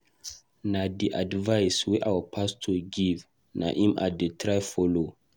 Na the advice our pastor give na im I dey try follow